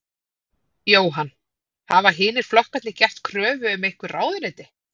Jóhann: Hafa hinir flokkarnir gert kröfu um einhver ráðuneyti?